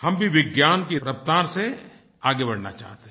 हम भी विज्ञान की रफ़्तार से आगे बढ़ना चाहते हैं